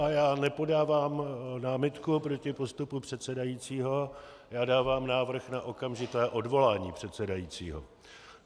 A já nepodávám námitku proti postupu předsedajícího, já dávám návrh na okamžité odvolání předsedajícího.